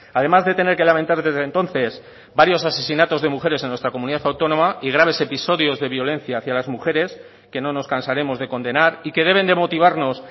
además de tener que lamentar desde entonces varios asesinatos de mujeres en nuestra comunidad autónoma y graves episodios de violencia hacia las mujeres que no nos cansaremos de condenar y que deben de motivarnos